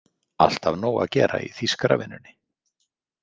Alltaf nóg að gera í þýskaravinnunni?